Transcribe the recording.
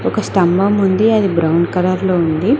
ఒక స్తంభం ఉంది అది బ్రౌన్ కలర్ లో ఉంది.